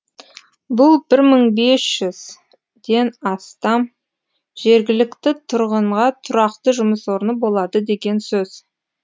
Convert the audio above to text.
бұл бір мың бес жүзден астам жергілікті тұрғынға тұрақты жұмыс орны болады деген сөз